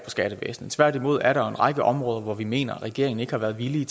i skattevæsenet tværtimod er der jo en række områder hvor vi mener at regeringen ikke har været villig